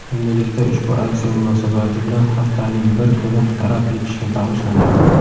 endilikda ushbu aksiya munosabati bilan haftaning bir kuni daraxt ekishga bag‘ishlanadi.